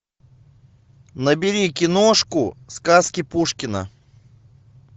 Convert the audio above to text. набери киношку сказки пушкина